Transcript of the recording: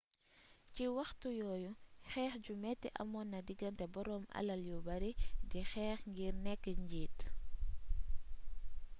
ci waxtu yoyu xeex ju meti amon na diganté borom alal yu beurri di xeex ngir neek njit